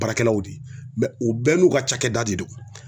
Baarakɛlaw de ye u bɛɛ n'u ka cakɛda de don.